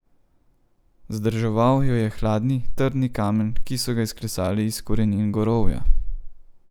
Zadrževal jo je hladni, trdni kamen, ki so ga izklesali iz korenin gorovja.